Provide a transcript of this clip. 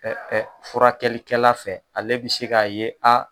furakɛlikɛla fɛ ale bɛ se k'a ye a